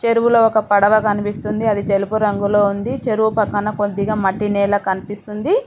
చెరువులో ఒక పడవ కనిపిస్తుంది అది తెలుపు రంగులో ఉంది చెరువు పక్కన కొద్దిగా మట్టి నేల కనిపిస్తుంది.